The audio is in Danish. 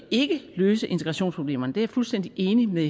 ikke løse integrationsproblemerne det er jeg fuldstændig enig med